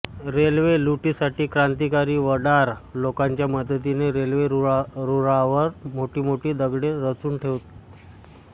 railway लुटीसाठी क्रांतिकारी वडार लोंकांच्या मदतीने रेल्वे रूळावर मोठीमोठी दगडे रचून ठेवत